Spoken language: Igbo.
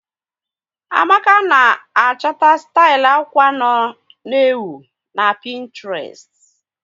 Amaka na a chọta stil akwa nọ n'ewu na Pinetrest